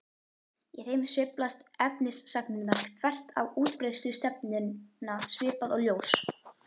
Í þeim sveiflast efnisagnirnar þvert á útbreiðslustefnuna svipað og ljós.